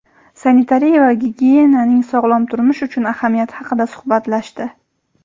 sanitariya va gigiyenaning sog‘lom turmush uchun ahamiyati haqida suhbatlashdi.